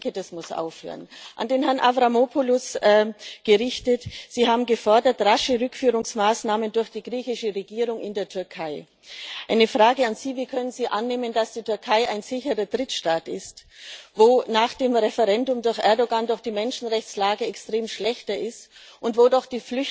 Ich denke, das muss aufhören. An Herrn Avramopoulos gerichtet Sie haben rasche Rückführungsmaßnahmen durch die griechische Regierung in die Türkei gefordert. Eine Frage an Sie Wie können Sie annehmen, dass die Türkei ein sicherer Drittstaat ist, wo nach dem Referendum durch Erdoğan doch die Menschenrechtslage extrem schlechter ist und wo doch